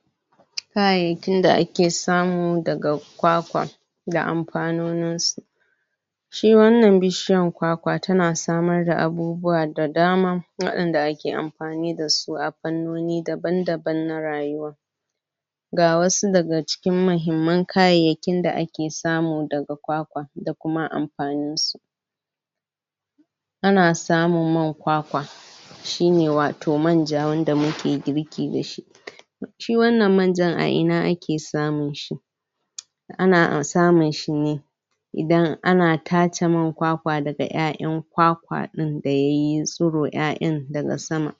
? Kayayyakin da ake samu daga kwakwa,? da amfanoninsu.? Shi wannan bishiyan kwakwa ta na samar da abubuwa da dama, waɗan da ake amfani da su a fannoni daban-daban na rayuwa.? Ga wasu daga cikin mahimman kayayyakin da ake samu daga kwakwa, da kuma amfaninsu.? A na samun man kwakwa.? Shi ne wato manja wanda muke girki da shi.? Shi wannan manjan a ina ake samun shi?? Ana samun shi ne,? idan ana tace man kwakwa daga ƴaƴan kwakwan din da ya yi tsiro ƴaƴan daga sama.?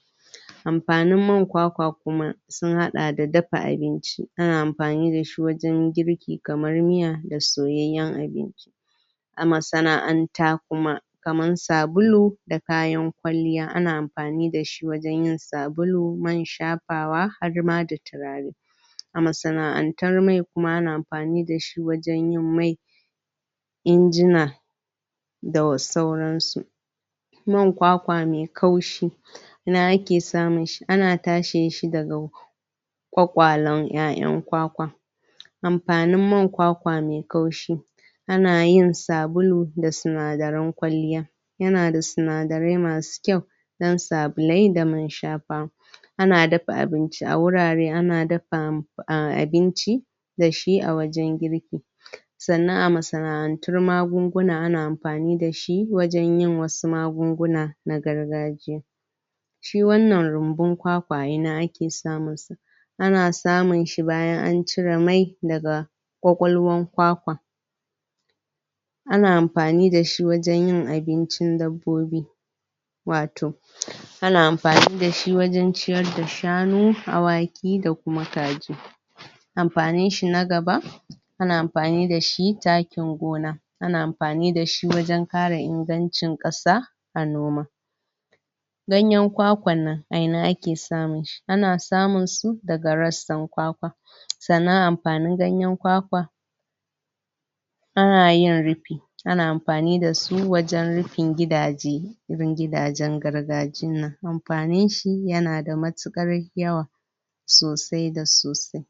Amfanin man kwakwa kuma, sun haɗa da dafa abinci. Ana amfani da shi wajan girki, kamar miya da soyayyan abinci.? A masana'anta kuma, kamar sabulu, da kayan kwalliya. Ana amfani da shi wajan yin sabulu, man shafawa harma da turare.? A masana'antar mai kuma, ana amfani da shi wajan yin mai,? injina, da sauransu.? Man kwakwa mai kaushi.? Ina ake samun shi? Ana tashin shi daga,? ƙwaƙwalan ƴaƴan kwakwa.? Amfanin man kwakwa mai kaushi.? Ana yin sabulu da sinadaran kwalliya.? Ya na da sinadarai masu kyau,? dan sabulai da man shafawa. Ana dafa abinci a wurare. Ana dafa abinci,? da shi a wajan girki.? Sannan a masana'antar magunguna ana amfani da shi, wajan yin wasu magunguna na gargajiya.? Shi wannan runbun kwakwa a ina ake samunsa?? Ana samun shi bayan an cire mai daga ƙwaƙalwar kwakwa.? Ana amfani da shi wajan yin abincin dabbobi.? Wato,? an amfani da shi wajan ciyar da shanu, awaki da kuma kaji. Amfaninshi na gaba, ana amfani da shi takin gona. Ana amfani da shi wajan ƙara ingancin kasa, a noma.? Ganyan kwakwannan, a ina ake samun shi? Ana samun su daga rassan kwakwa. Sannan amfanin ganyan kwakwa,? ana yin rufi. Ana amfani da su wajan rufin gidaje, irin gidajen gargajinnan. Amfanin shi ya na da matuƙar yawa,? sosai da sosai.?